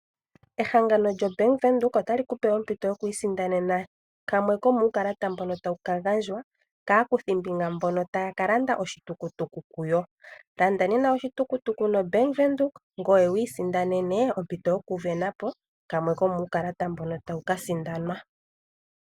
Ehangano lyo Bank Windhoek otali kupe ompito yokwiisinda nena kamwe komuukalata mbono tawu kagandjwa kaakuthimbinga mboka taya kalanda oshitukutuku kuyo. Landa nena oshitukutuku no Bank Windhoek ngoye wiisinda nene ompito yoku sindanapo kamwe komuukalata mboka tawu kasindanwa.